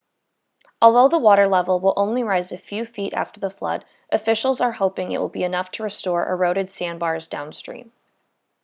although the water level will only rise a few feet after the flood officials are hoping it will be enough to restore eroded sandbars downstream